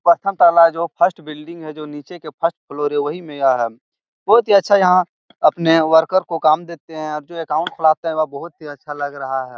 प्रथम ताला है जो फर्स्ट बिल्डिंग है जो नीचे के फर्स्ट फ्लोर है वही में यह है। बहुत ही अच्छा यहाँ अपने वर्कर को काम देते है और जो अकाउंट खुलाते है वह बहुत ही अच्छा लग रहा है।